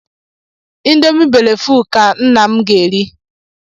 Ịndomì bele fuul ka nna m ga-eri.